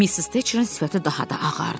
Missis Teçrin sifəti daha da ağardı.